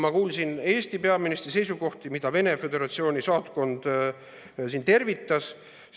Ma kuulsin Eesti peaministri seisukohti, mida Venemaa Föderatsiooni saatkond tervitas.